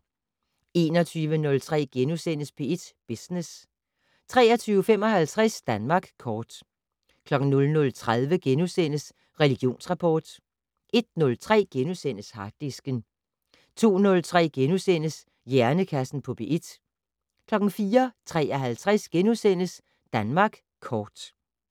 21:03: P1 Business * 23:55: Danmark kort 00:30: Religionsrapport * 01:03: Harddisken * 02:03: Hjernekassen på P1 * 04:53: Danmark kort *